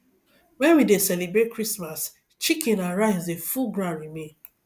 when we dey celebrate christmas chicken and rice dey full ground remain